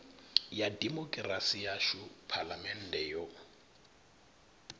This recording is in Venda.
ya dimokirasi yashu phalamennde yo